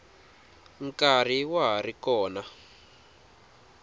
nkarhi wa ha ri kona